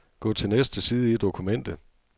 Gå til næste side i dokumentet.